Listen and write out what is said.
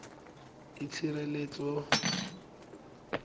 itshireletso